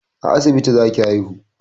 A asibiti za ki haihu!